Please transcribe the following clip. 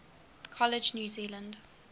college new zealand